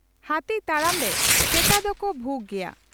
ᱦᱟᱹᱛᱤ ᱛᱟᱲᱟᱢ ᱨᱮ ᱥᱮᱛᱟ ᱫᱚᱠᱚ ᱵᱷᱩᱜᱽ ᱜᱮᱭᱟ ᱾